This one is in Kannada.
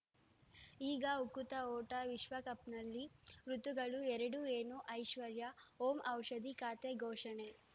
ಈಗ ಉಕುತ ಊಟ ವಿಶ್ವಕಪ್‌ನಲ್ಲಿ ಋತುಗಳು ಎರಡು ಏನು ಐಶ್ವರ್ಯಾ ಓಂ ಔಷಧಿ ಖಾತೆ ಘೋಷಣೆ